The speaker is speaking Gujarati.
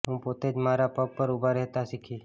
હું પોતે જ મારા પગ પર ઊભા રહેતાં શીખી